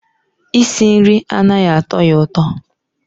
Isi nri anaghị atọ ya ụtọ